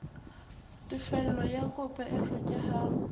tefello ya kopo e hlokehang